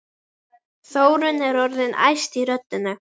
Þórunn er orðin æst í röddinni.